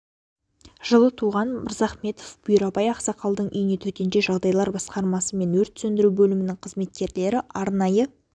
жылы туылған мырзахметов бұйрабай ақсақалдың үйіне төтенше жағдайлар басқармасы мен өрт сөндіру бөлімінің қызметкерлері арнайы